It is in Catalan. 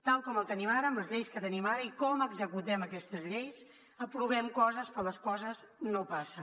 tal com ho tenim ara amb les lleis que tenim ara i com executem aquestes lleis aprovem coses però les coses no passen